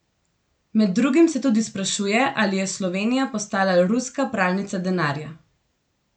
Med drugim se tudi sprašuje, ali je Slovenija postala ruska pralnica denarja.